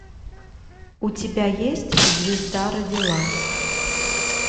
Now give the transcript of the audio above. у тебя есть звезда родилась